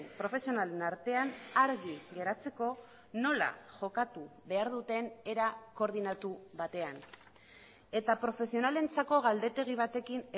profesionalen artean argi geratzeko nola jokatu behar duten era koordinatu batean eta profesionalentzako galdetegi batekin